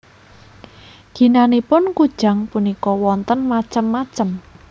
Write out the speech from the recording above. Ginanipun kujang punika wonten macem macem